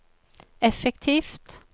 effektivt